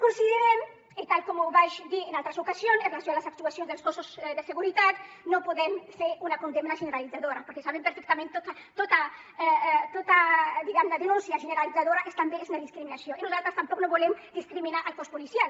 considerem i tal com vaig dir en altres ocasions amb relació a les actuacions dels cossos de seguretat que no podem fer una condemna generalitzadora perquè sabem perfectament que tota diguem ne denúncia generalitzadora és també una discriminació i nosaltres tampoc no volem discriminar el cos policial